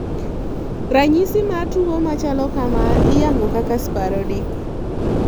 Ranyisi mar tuo machalokamaa iyango kaka sporadic